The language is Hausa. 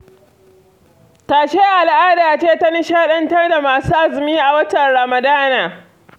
Tashe al'ada ce ta nishaɗantar da masu azumi a watan Ramadana.